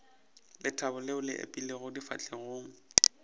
lethabo leo le ipeilego difahlegong